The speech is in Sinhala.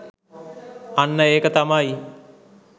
අන්න ඒක තමයි